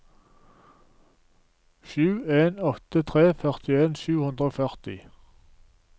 sju en åtte tre førtien sju hundre og førti